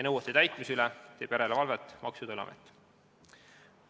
Nõuete täitmise üle teeb järelevalvet Maksu- ja Tolliamet.